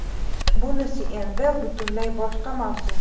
Bunisi endi butunlay boshqa mavzu.